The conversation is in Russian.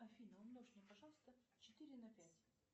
афина умножь мне пожалуйста четыре на пять